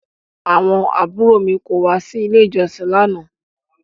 Àwọn àbúrò mi kò wá sí ilé ìjọsìn lánàá